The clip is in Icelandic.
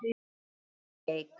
Árný Eik.